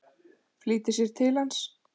Flýtir sér til hans.